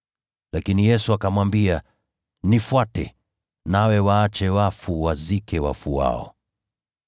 Lakini Yesu akamwambia, “Nifuate, uwaache wafu wawazike wafu wao.”